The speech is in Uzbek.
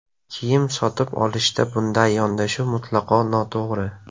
Kiyim sotib olishda bunday yondashuv mutlaqo noto‘g‘ri.